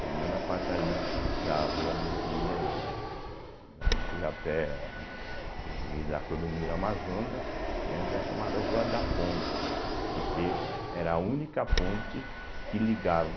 Pelo menos a parte ali da Rua Luiz Dias, né, da Macurapé, né, e da Clodomiro Amazonas, que antes era chamada Rua da Ponte, porque era a única ponte que ligava